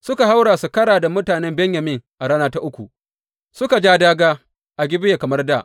Suka haura su kara da mutanen Benyamin a rana ta uku suka ja dāgā a Gibeya kamar dā.